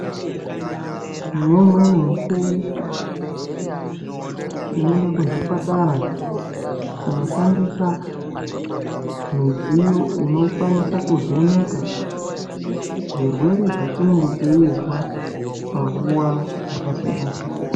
Neimweni mikuwo tinoenda kuzvipatara kunoshandisa midziyo inokwanisa kuvheneka zvirwere zvatinenge teizwa panguwa dzakasiyanasiyana.